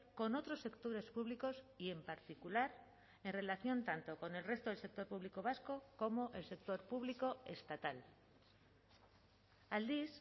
con otros sectores públicos y en particular en relación tanto con el resto del sector público vasco como el sector público estatal aldiz